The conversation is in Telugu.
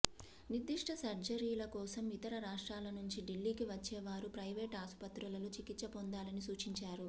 నిర్దిష్ట సర్జరీల కోసం ఇతర రాష్ట్రాల నుంచి ఢిల్లీకి వచ్చే వారు ప్రైవేట్ ఆసు పత్రులలో చికిత్స పొందాలని సూచించారు